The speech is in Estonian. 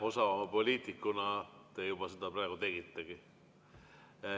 Osava poliitikuna te seda praegu tegitegi.